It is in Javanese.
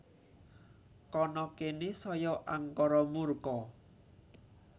Kana kene saya angkara murka